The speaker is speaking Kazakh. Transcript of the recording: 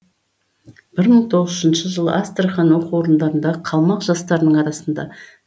бір мың тоғыз жүз үшінші жылы астрахань оқу орындарындағы қалмақ жастарының арасында